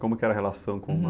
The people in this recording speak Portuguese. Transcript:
Como era a relação com o mar?hum.